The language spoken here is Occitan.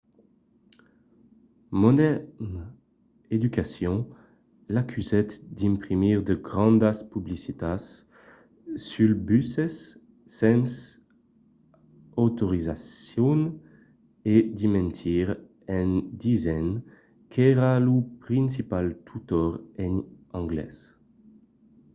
modern education l'acusèt d'imprimir de grandas publicitats suls buses sens autorizacion e de mentir en disent qu'èra lo principal tutor en anglés